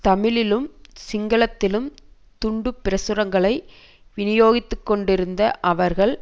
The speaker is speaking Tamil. தமிழிலும் சிங்களத்திலும் துண்டு பிரசுரங்களை விநியோகித்துக்கொண்டிருந்த அவர்கள்